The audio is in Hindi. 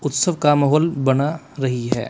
उत्सव का माहौल बना रही है।